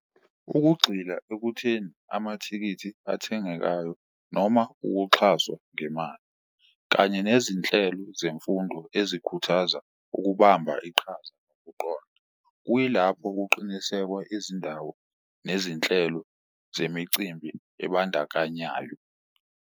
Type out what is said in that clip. Ukugxila ekutheni amathikithi athengekayo noma ukuxhaswa ngemali, kanye nezinhlelo zemfundo ezikhuthaza ukubamba iqhaza , kuyilapho kuqinisekwa izindawo nezinhlelo zemicimbi ebandakanyayo.